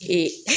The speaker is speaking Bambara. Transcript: Ee